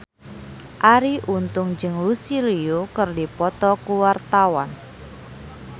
Arie Untung jeung Lucy Liu keur dipoto ku wartawan